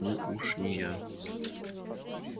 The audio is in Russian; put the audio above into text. ну уж не я